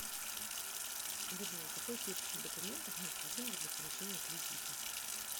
джой какой перечень документов необходимых для получения кредита